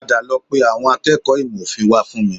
Padà lọ pe àwọn akẹ́kọ̀ọ́ ìmọ̀ òfin wá fún mi